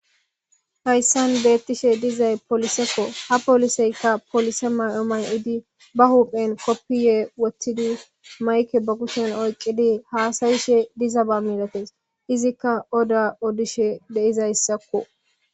hayssan beettishe dizay poolisekko ha poliseykka polise may7o may7idi ba huuphen koppiye wottidi mayke ba kushen oyqidi haasayishe dizaba milatees izikka oda odishe deizayssakko